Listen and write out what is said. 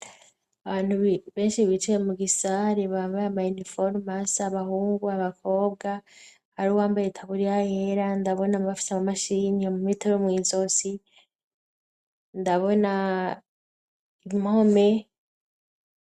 Abantu benshi bicaye mugisare bambaye amaniforome asa, abahungu, abakobwa hari uwambaye itaburiya yera, ndabona abafise amamashini, imetero mw'izosi, ndabona impome.